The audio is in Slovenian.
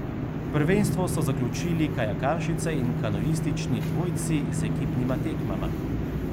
Prvenstvo so zaključili kajakašice in kanuistični dvojci z ekipnima tekmama.